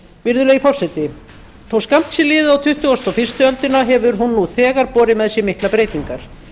virðulegi forseti þó skammt sé liðið á tuttugustu og fyrstu öldina hefur hún nú þegar borið með sér miklar breytingar